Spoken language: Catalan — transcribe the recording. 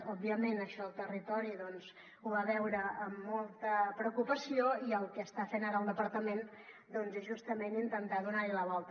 òbviament això el territori ho va veure amb molta preocupació i el que està fent ara el departament és justament intentar donar hi la volta